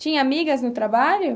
Tinha amigas no trabalho?